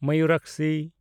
Mayurakshi